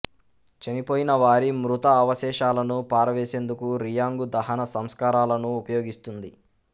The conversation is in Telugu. చనిపోయినవారి మృత అవశేషాలను పారవేసేందుకు రియాంగు దహన సంస్కారాలను ఉపయోగిస్తుంది